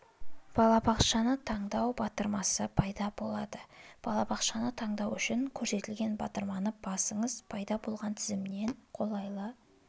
балабақшаны таңдау батырмасы пайда болады балабақшаны таңдау үшін көрсетілген батырманы басыңыз пайда болған тізімнен қолайлы